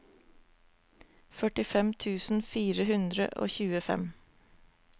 førtifem tusen fire hundre og tjuefem